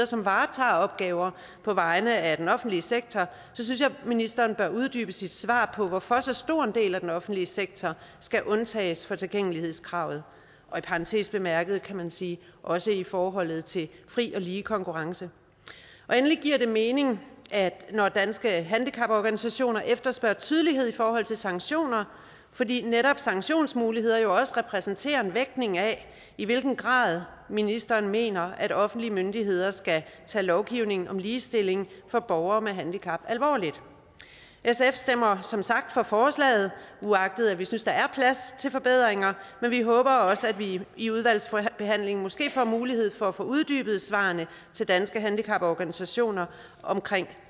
som varetager opgaver på vegne af den offentlige sektor synes jeg at ministeren bør uddybe sit svar på hvorfor så stor en del af den offentlige sektor skal undtages fra tilgængelighedskravet og i parentes bemærket kan man sige også i forhold til fri og lige konkurrence endelig giver det mening når danske handicaporganisationer efterspørger tydelighed i forhold til sanktioner fordi netop sanktionsmuligheder jo også repræsenterer en vægtning af i hvilken grad ministeren mener at offentlige myndigheder skal tage lovgivningen om ligestilling for borgere med handicap alvorligt sf stemmer som sagt for forslaget uagtet at vi synes at der er plads til forbedringer men vi håber også at vi i udvalgsbehandlingen måske får mulighed for at få uddybet svarene til danske handicaporganisationer om